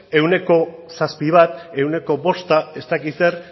ehuneko zazpi ehuneko bost ez dakit zer